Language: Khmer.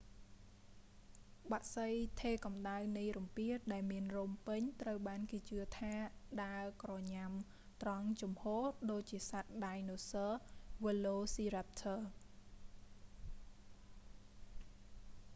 បក្សីថេរកំដៅនៃរំពាដែលមានរោមពេញត្រូវបានគេជឿថាដើរក្រញ៉ាំត្រង់ជំហរ ដូចជាសត្វដាយណូស័រវើឡូស៊ីរ៉ាប់ធរ velociraptor